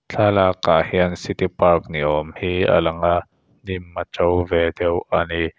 thlalak ah hian city park ni awm hi a lang a hnim a to ve deuh a ni.